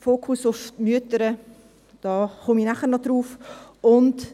Zum Fokus auf die Mütter komme ich nachher noch.